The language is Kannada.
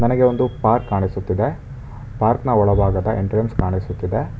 ನನಗೆ ಒಂದು ಪಾರ್ಕ್ ಕಾಣಿಸುತ್ತಿದೆ ಪಾರ್ಕ ನ ಒಳಬಾಗದ ಎಂಟ್ರನ್ಸ್ ಕಾಣಿಸುತ್ತಿದೆ.